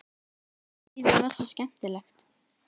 Lífið var svo skemmtilegt.